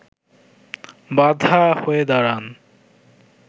বাধা হয়ে দাঁড়ান